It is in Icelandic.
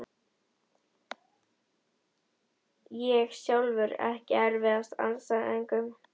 Ég sjálfur EKKI erfiðasti andstæðingur?